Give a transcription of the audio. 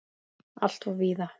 Alltof víða!